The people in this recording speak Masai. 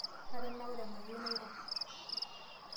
Atanaure mayieu nairo.